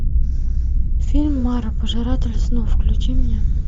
фильм мара пожиратель снов включи мне